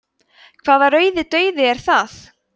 hvaða rauði dauði er það